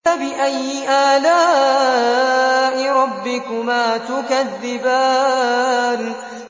فَبِأَيِّ آلَاءِ رَبِّكُمَا تُكَذِّبَانِ